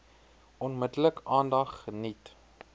onmiddellik aandag geniet